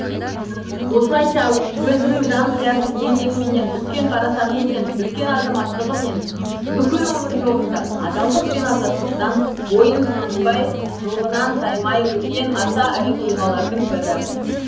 осылайша өзінің жан қиярлық еңбегіменен үлкен парасатымен үлкен азаматтығымен бүкіл өмір жолында адалдық пен азаттықтан бойын суытпай жолынан таймай өткен аса ірі тұлғалардың бірі